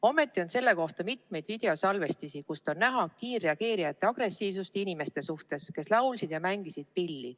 Ometi on mitmeid videosalvestisi, kust on näha kiirreageerijate agressiivsust inimeste vastu, kes laulsid ja mängisid pilli.